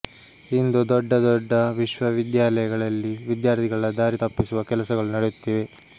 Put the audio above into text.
ಇಂದು ದೊಡ್ಡ ದೊಡ್ಡ ವಿಶ್ವವಿದ್ಯಾಲಯಗಳಲ್ಲಿ ವಿದ್ಯಾರ್ಥಿಗಳ ದಾರಿ ತಪ್ಪಿಸುವ ಕೆಲಸಗಳು ನಡೆಯುತ್ತಿವೆ